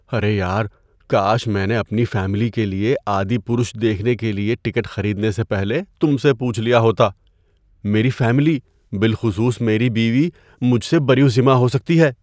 ارے یار! کاش میں نے اپنی فیملی کے لیے "آدی پرش" دیکھنے کے لیے ٹکٹ خریدنے سے پہلے تم سے پوچھ لیا ہوتا۔ میری فیملی، بالخصوص میری بیوی مجھ سے بری الذمہ ہو سکتی ہے۔